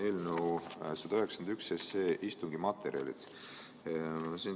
Eelnõu 191 materjalid.